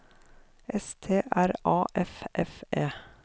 S T R A F F E